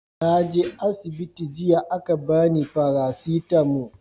naje asibiti jiya a ka bani farasitamo